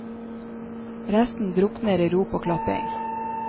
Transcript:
Resten drukner i rop og klapping.